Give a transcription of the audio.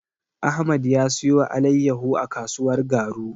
Ahmad ya siyo alaiyahu a kasuwar Garu.